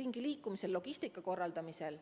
ringiliikumisel, logistika korraldamisel.